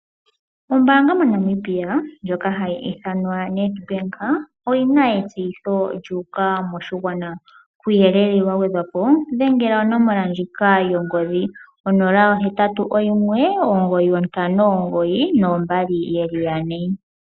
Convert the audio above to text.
Ombaanga moNamibia ndjoka hayi ithanwa Nedbank oyina etseyitho lyuuka moshigwana, kuuyelele wagwedhwapo dhengela onomola ndjika yongodhi 0819592222.